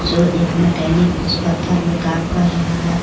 जो एक मकेनिक इस पत्थर मे काम कर रहा हे.